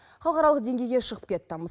халықаралық деңгейге шығып кетті